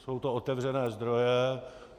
Jsou to otevřené zdroje.